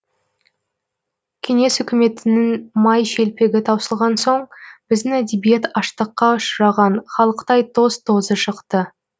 кеңес үкіметінің май шелпегі таусылған соң біздің әдебиет аштыққа ұшыраған халықтай тоз тозы шықты